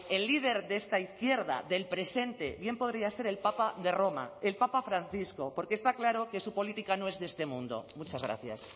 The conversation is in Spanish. el líder de esta izquierda del presente bien podría ser el papa de roma el papa francisco porque está claro que su política no es de este mundo muchas gracias